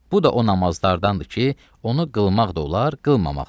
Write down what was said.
Bu da o namazlardandır ki, onu qılmaq da olar, qılmamaq da olar.